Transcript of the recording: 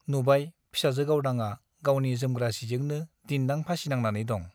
नुबाय , फिसाजो गावदांआ गावनि जोमग्रा सिजोंनो दिन्दां फासि नांनानै दं ।